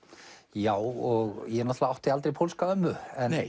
já og ég náttúrulega átti aldrei pólska ömmu